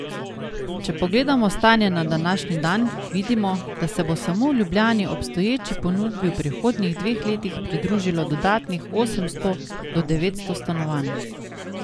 Če pogledamo stanje na današnji dan, vidimo, da se bo samo v Ljubljani obstoječi ponudbi v prihodnjih dveh letih pridružilo dodatnih osemsto do devetsto stanovanj.